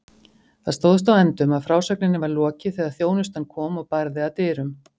Það stóðst á endum að frásögninni var lokið þegar þjónustan kom og barði að dyrum.